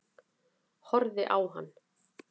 Horfi á hann.